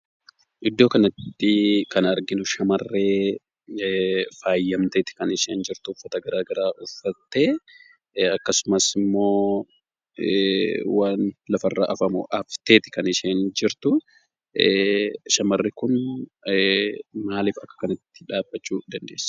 Iddoo kanatti, kan arginu shamarree faayyamtee kan isheen jirtu, uffata garaagaraa uffattee, akkasumas immoo, waan lafarra hafamu hafteeti kan isheen jirtu. Shamarri kun, maaliif akka kanatti dhabbachuu dandeesse?